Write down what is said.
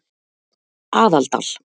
Aðaldal